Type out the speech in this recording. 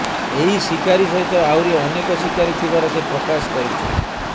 ଏହି ଶିକାରୀ ସହିତ ଆହୁରି ଅନେକ ଶିକାରୀ ଥିବାର ସେ ପ୍ରକାଶ କରିଛି